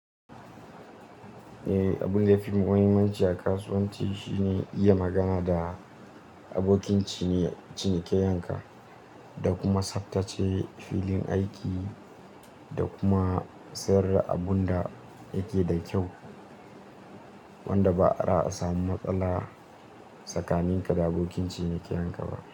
Eh, abun da ya fi muhimmanci a kasuwanci shine iya magana da abokin cinikayyanka, da kuma tsabtace filin aiki, da kuma sayar da abun da yake da kyau wanda ba'a samu matsala tsakaninka da abokin cinikayyanka ba.